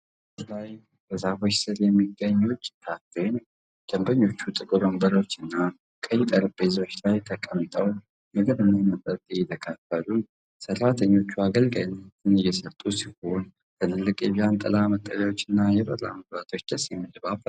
ምሽት ላይ በዛፎች ስር የሚገኝ የውጪ ካፌ ነው። ደንበኞች ጥቁር ወንበሮችና ቀይ ጠረጴዛዎች ላይ ተቀምጠው ምግብና መጠጥ እየተካፈሉ ነው። ሰራተኞች አገልጋይነት እየሰጡ ሲሆን፣ ትልልቅ የዣንጥላ መጠለያዎችና የበራ መብራቶች ደስ የሚል ድባብ ፈጥረዋል።